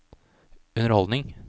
underholdning